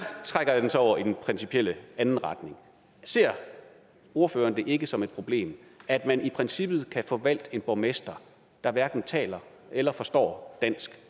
trækker jeg det så over i den principielle anden retning ser ordføreren det ikke som et problem at man i princippet kan få valgt en borgmester der hverken taler eller forstår dansk